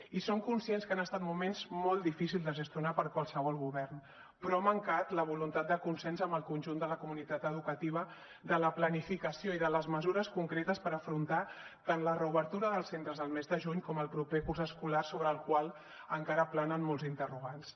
i som conscients que han estat moments molt difícils de gestionar per a qualsevol govern però ha mancat la voluntat de consens amb el conjunt de la comunitat educativa de la planificació i de les mesures concretes per afrontar tant la reobertura dels centres el mes de juny com el proper curs escolar sobre el qual encara planen molts interrogants